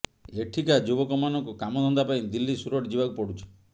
ଏଠିକା ଯୁବକମାନଙ୍କୁ କାମଧନ୍ଦା ପାଇଁ ଦିଲ୍ଲୀ ସୁରଟ ଯିବାକୁ ପଡୁଛି